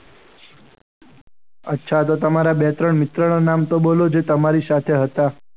અચ્છા તો તમારા બે-ત્રણ મિત્રના નામ બોલો જે તમારી સાથે હતા.